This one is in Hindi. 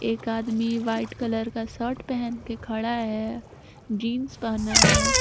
एक आदमी व्हाइट कलर का शर्ट पहन के खड़ा है जींस पहना है।